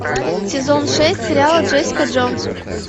сезон шесть сериала джессика джонс